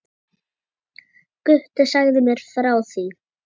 Gutti sagði mér frá því.